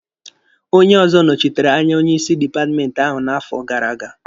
Onye ọzọ nọchitere anya onye isi dipatmenti ahụ n'afọ gara aga